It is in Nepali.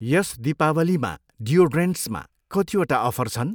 यस दीपावलीमा डियोड्रेन्टसमा कतिवटा अफर छन्?